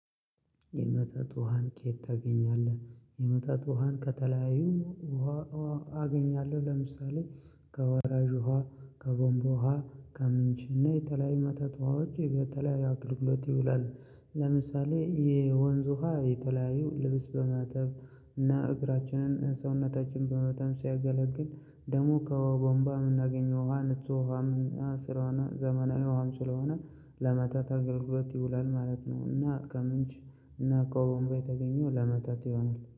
የመጠጥ ውሃን ከየት ታገኛለህ? የመጠጥ ውሃን ከተለያዩ ውሃ አገኛለሁ ለምሳሌ ከወራጅ ውሃ ከቧንቧ ውሃ ከምንጭና የተለያዩ የመጠጥ ዉሃዎች ለተለያዩ አገልግሎት ይውላል። ለምሳሌ የወንዝ ውሃ የተለያዩ ልብስ በማተብ እና እግራችንን ሰውነታችን ለማጠብ ሲያገለግል ደሞ ከቧንቧ የምናገኘው ውሃ ንጹህ ውሃ ዘመናዊም ስለሆነ ለመጠጥ አገልግሎት ይውላል ማለት ነው እና ከምንጭ እና ከቧንቧ የተገኘው ለመጠጥ ይሆናል።